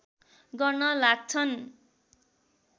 गर्न लाग्छन्